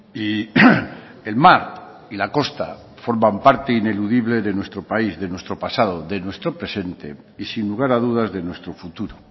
y el mar y la costa forman parte ineludible de nuestro país de nuestro pasado de nuestro presente y sin lugar a dudas de nuestro futuro